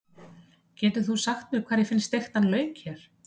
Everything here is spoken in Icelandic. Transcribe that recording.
Getur þú sagt mér hvar ég finn steiktan lauk hér?